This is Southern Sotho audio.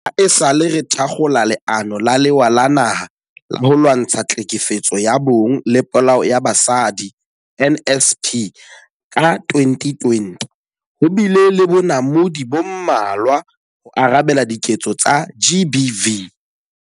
Haesale re thakgola Leano la Lewa la Naha la ho Lwantsha Tlhekefetso ya Bong le Polao ya Basadi, NSP, ka 2020, ho bile le bonamodi bo mmalwa ho arabela diketso tsa GBV.